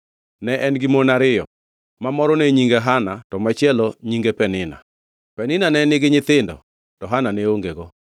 Ne en gi mon ariyo ma moro ne nyinge Hana to machielo nyinge Penina. Penina ne nigi nyithindo to Hana ne ongego.